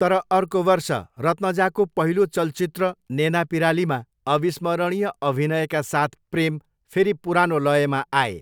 तर अर्को वर्ष, रत्नजाको पहिलो चलचित्र नेनापिरालीमा अविस्मरणीय अभिनयका साथ प्रेम फेरि पुरानो लयमा आए।